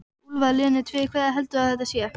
Úlfar Linnet: Fyrir hverja heldurðu að þetta sé?